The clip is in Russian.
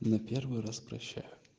на первый раз прощаю